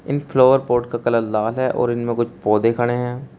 इन flower pot का colour लाल है और इनमें कुछ पोधै खड़े हैं।